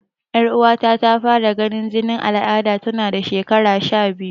Yar'uwata ta fara ganin jinin aladar tana shekara sha biyu.